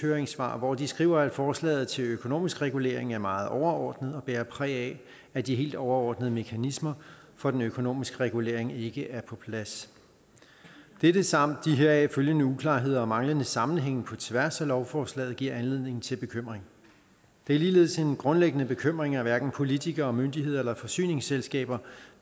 høringssvar hvor de skriver at forslaget til økonomisk regulering er meget overordnet og bærer præg af at de helt overordnede mekanismer for den økonomiske regulering ikke er på plads dette samt de heraf følgende uklarheder og manglende sammenhænge på tværs i lovforslaget giver anledning til bekymring det er ligeledes en grundlæggende bekymring at hverken politikere myndigheder eller forsyningsselskaber